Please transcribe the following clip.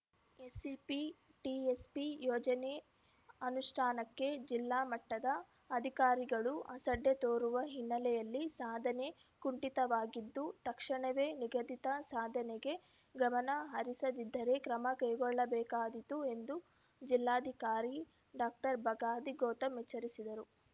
SCP TSP ಯೋಜನೆ ಅನುಷ್ಟಾನಕ್ಕೆ ಜಿಲ್ಲಾಮಟ್ಟದ ಅಧಿಕಾರಿಗಳು ಅಸಡ್ಡೆ ತೋರುವ ಹಿನ್ನೆಲೆಯಲ್ಲಿ ಸಾಧನೆ ಕುಂಠಿತವಾಗಿದ್ದು ತಕ್ಷಣವೇ ನಿಗದಿತ ಸಾಧನೆಗೆ ಗಮನ ಹರಿಸದಿದ್ದರೆ ಕ್ರಮ ಕೈಗೊಳ್ಳಬೇಕಾದೀತು ಎಂದು ಜಿಲ್ಲಾಧಿಕಾರಿ ಡಾಕ್ಟರ್ ಬಗಾದಿ ಗೌತಮ್‌ ಎಚ್ಚರಿಸಿದರು